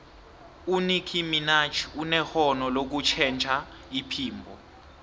unickie minaj unerhono lokutjhentjha iphimbo